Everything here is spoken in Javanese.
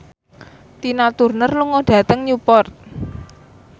Tina Turner lunga dhateng Newport